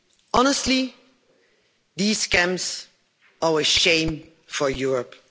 Honestly, these camps are a shame for Europe.